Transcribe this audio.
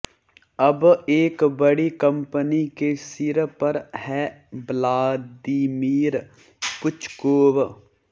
अब एक बड़ी कंपनी के सिर पर है व्लादिमीर पुच्कोव